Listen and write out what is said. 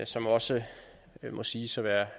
som også må siges at være